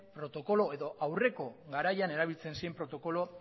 protokolo edo aurreko garaian erabiltzen ziren protokolo